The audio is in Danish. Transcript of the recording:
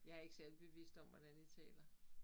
Jeg ikke særlig bevidst om hvordan jeg taler